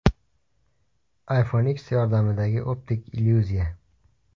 iPhone X yordamidagi optik illyuziya.